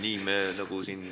Nii me nagu siin ...